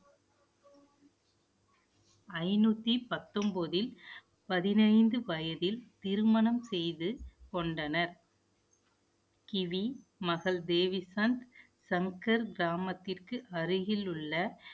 ஐநூத்தி பத்தொன்பதில், பதினைந்து வயதில் திருமணம் செய்து கொண்டனர் கிவி, மகள் தேவிசந்த் சங்கர் கிராமத்திற்கு அருகில் உள்ள